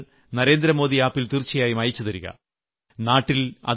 അതിന്റെ ചിത്രങ്ങൾ നരേന്ദ്രമോദി ആപ്പിൽ തീർച്ചയായും അയച്ചുതരിക